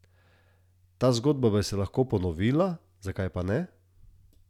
Ta zgodba bi se lahko ponovila, zakaj pa ne?